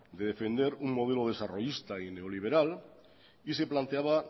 de defender un modelo desarrollista y neoliberal y se planteaba